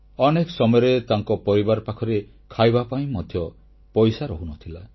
ଅନେକ ସମୟରେ ତାଙ୍କ ପରିବାର ପାଖରେ ଖାଇବା ପାଇଁ ମଧ୍ୟ ପଇସା ରହୁନଥିଲା